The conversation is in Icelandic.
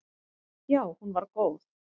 Já hún var góð.